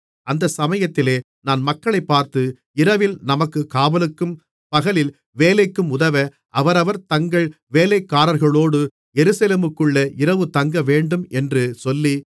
அந்தச் சமயத்திலே நான் மக்களைப் பார்த்து இரவில் நமக்குக் காவலுக்கும் பகலில் வேலைக்கும் உதவ அவரவர் தங்கள் வேலைக்காரர்களோடு எருசலேமுக்குள்ளே இரவு தங்கவேண்டும் என்று சொல்லி